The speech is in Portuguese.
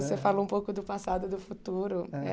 Você falou um pouco do passado e do futuro.